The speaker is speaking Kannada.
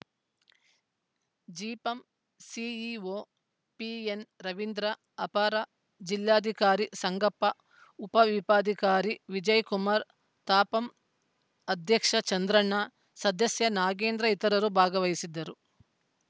ಜಿಪಂ ಸಿಇಒ ಪಿಎನ್‌ ರವಿಂ ದ್ರ ಅಪರ ಜಿಲ್ಲಾಧಿಕಾರಿ ಸಂಗಪ್ಪ ಉಪವಿಭಾಗಧಿಕಾರಿ ವಿಜಯ್‌ ಕುಮಾರ್‌ ತಾಪಂ ಅಧ್ಯಕ್ಷ ಚಂದ್ರಣ್ಣ ಸದಸ್ಯ ನಾಗೇಂದ್ರ ಇತರರು ಭಾಗವಹಿಸಿದ್ದರು